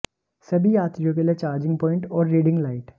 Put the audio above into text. सभी यात्रियों के लिए चार्जिंग प्वाइंट और रीडिंग लाइट